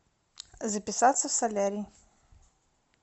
записаться в солярий